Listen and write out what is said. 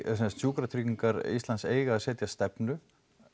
sem sagt Sjúkratryggingar eiga að setja stefnu